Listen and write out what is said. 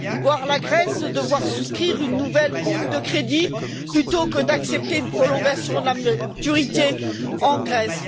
voir la Grèce devoir souscrire une nouvelle ligne de crédit, plutôt que d'accepter une prolongation de la maturité en Grèce.